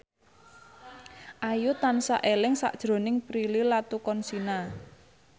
Ayu tansah eling sakjroning Prilly Latuconsina